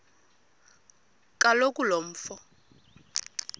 kaloku lo mfo